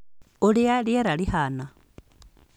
Ũrĩa rĩera rĩhaana: